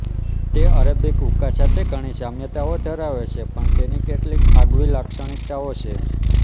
તે અરેબિક હૂકા સાથે ઘણી સામ્યતાઓ ધરાવે છે પણ તેની કેટલીક આગવી લાક્ષણિકતાઓ છે